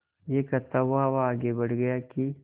यह कहता हुआ वह आगे बढ़ गया कि